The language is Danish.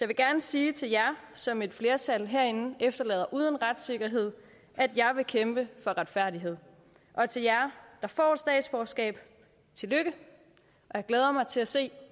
vil gerne sige til jer som et flertal herinde efterlader uden retssikkerhed at jeg vil kæmpe for retfærdighed og til jer der får statsborgerskab tillykke jeg glæder mig til at se